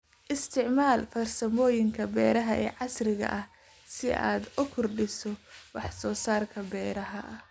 Isticmaal farsamooyinka beeraha ee casriga ah si aad u kordhiso wax soo saarka beeraha.